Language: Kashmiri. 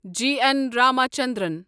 جی اٮ۪ن رامچندرن